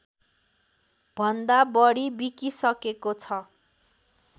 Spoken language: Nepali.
भन्दा बढी बिकिसकेको छ